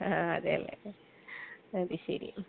ആ. അതേലെ. അത് ശരി.